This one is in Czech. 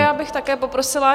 Já bych také poprosila.